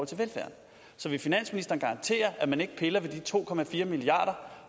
til velfærd så vil finansministeren garantere at man ikke piller ved de to milliarder